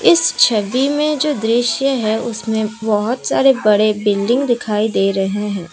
इस छवि मे जो दृश्य है उसमें बहुत सारे बिल्डिंग दिखाई दे रहे हैं।